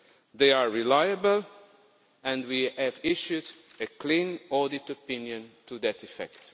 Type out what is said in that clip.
They are reliable and we have issued a clean audit opinion to that effect.